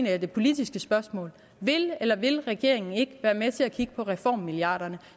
er det politiske spørgsmål vil eller vil regeringen ikke være med til at kigge på reformmilliarderne